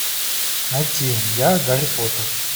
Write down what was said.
найти я гарри поттер